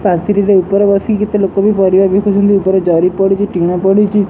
ପାଚେରିରେ ଉପରେ ବସି କେତେ ଲୋକବି ପରିବା ବିକୁଛନ୍ତି ଉପରେ ଜରି ପଡିଛି ଟିଣ ପଢିଛି।